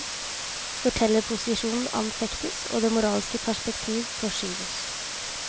Fortellerposisjonen anfektes, og det moralske perspektiv forskyves.